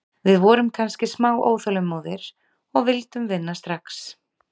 Við vorum kannski smá óþolinmóðir og vildum vinna strax.